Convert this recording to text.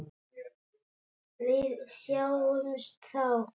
Við sjáumst þá!